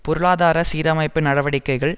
பொருளாதார சீரமைப்பு நடவடிக்கைகள்